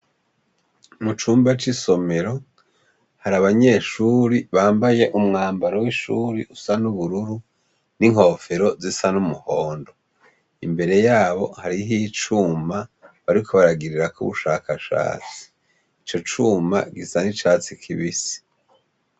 Mu cumba c' isomero, hari abanyeshuri bambaye umwambaro w' ishuri usa n' ubururu hamwe n' inkofero zisa z' umuhondo. Imbere yaho hariho icuma bariko baragirirako ubushakashatsi. Ico cuma gisa n' icatsi kibisi.